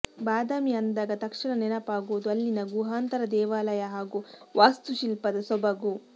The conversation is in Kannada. ಬಾದಾಮಿ ಅಂದಾಗ ತಕ್ಷಣ ನೆನಪಾಗೋದು ಅಲ್ಲಿನ ಗುಹಾಂತರ ದೇವಾಲಯ ಹಾಗೂ ವಾಸ್ತುಶಿಲ್ಪದ ಸೊಬಗು